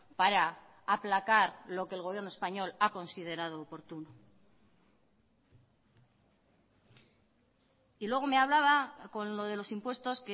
para aplacar lo que el gobierno español ha considerado oportuno y luego me hablaba con lo de los impuestos